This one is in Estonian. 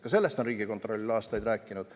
Ka sellest on Riigikontroll aastaid rääkinud.